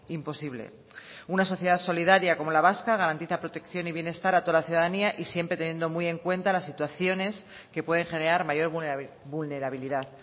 imposible una sociedad solidaria como la vasca garantiza protección y bienestar a toda la ciudadanía y siempre teniendo muy en cuenta las situaciones que pueden generar mayor vulnerabilidad